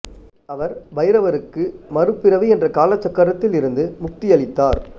அவர் பைரவருக்கு மறுபிறவி என்ற காலச்சக்கரத்தில் இருந்து முக்தி அளித்தார்